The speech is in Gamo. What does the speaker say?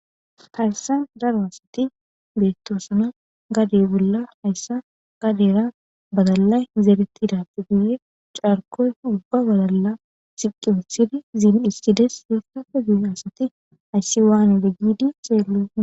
Haysan Daro asati betosona haysa gade bolla haysa gadera badalay zeretidappe guye cakoysa ubba badalay zeri wothidi iza dhiskides haysape guye asati haysi wanize gidi asati xelidi